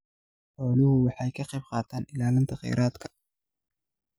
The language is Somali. Xooluhu waxay ka qaybqaataan ilaalinta kheyraadka.